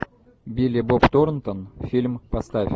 билли боб торнтон фильм поставь